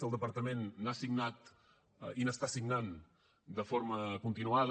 el departament n’ha signat i n’està signant de forma continuada